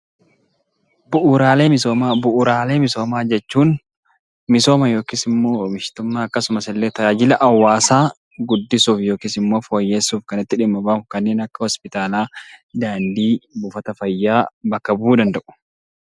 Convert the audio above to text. Bu'uuraalee misoomaa. Bu'uuraalee misoomaa jechuun misooma yookis immoo oomishtummaa akkasumasillee tajaajila hawaasaa guddisuuf yookiis immoo fooyyesuuf kan itti dhimma ba'u kanneen akka hospitaalaa, daandii, buufata fayyaa bakka bu'uu danda'u.